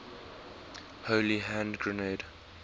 holy hand grenade